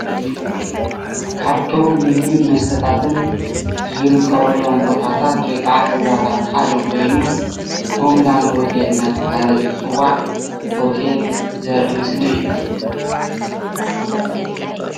ካብቶም ንምግብን ንመስተታትን ዝርከብሎም ቦታታት ወይ ከዓ ገዛታት ሓደ ኮይኑ ሆም ላንድ ሆቴል እናተባሃለ ዝፅዋዕ ሆቴል ዘርኢ ምስሊ እዩ፡፡